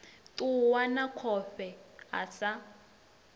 ṱuwa na khofhe a sa